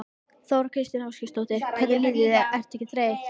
Þóra Kristín Ásgeirsdóttir: Hvernig líður þér, ertu ekki þreytt?